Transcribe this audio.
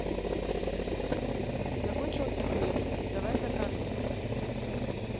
закончился хлеб давай закажем